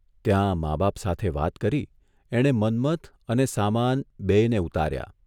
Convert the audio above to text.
ત્યાં મા બાપ સાથે વાત કરી એણે મન્મથ અને સામાન બેયને ઉતાર્યા